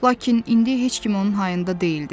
Lakin indi heç kim onun hayında deyildi.